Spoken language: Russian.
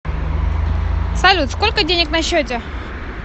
салют сколько денег на счете